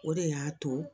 O de y'a to